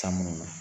San munnu na